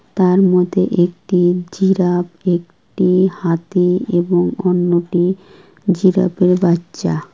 তার মধ্যে একটি জিরাফ একটি হাতি এবং অন্যটি জিরাফের বাচ্চা।